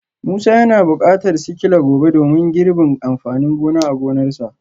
Musa yana bukatar sikila gobe domin girbin amfanin gona a gonarsa